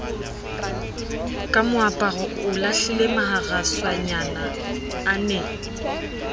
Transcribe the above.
ka moaparo o lahlilemaharaswanyana ane